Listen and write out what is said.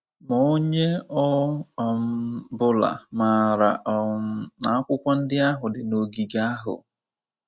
Ma onye ọ um bụla maara um na akwụkwọ ndị ahụ dị n’ogige ahụ...